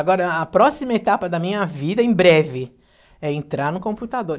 Agora, a próxima etapa da minha vida, em breve, é entrar no computador.